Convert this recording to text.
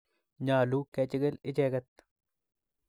Nyalu kechikil icheket